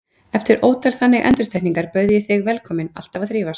Eftir ótal þannig endurtekningar bauð ég þig velkominn, alltaf að þrífast.